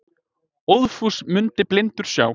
Óðfús mundi blindur sjá.